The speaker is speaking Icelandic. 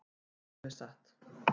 Segðu mér satt.